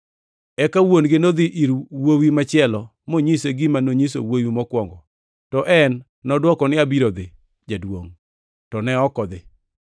“Eka wuon-gino nodhi ir wuowi machielo monyise gima nonyiso wuowi mokwongo. To en nodwoko ni, ‘Abiro dhi, jaduongʼ, to ne ok odhi.’ ”